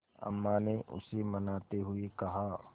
अम्मा ने उसे मनाते हुए कहा